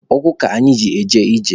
Ụkwụ ka anyị ji eje ije.